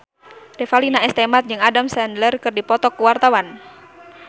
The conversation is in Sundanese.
Revalina S. Temat jeung Adam Sandler keur dipoto ku wartawan